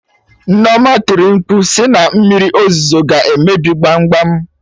Nneoma tiri mkpu sị na Mmiri ozuzo ga emebi gbam gbam!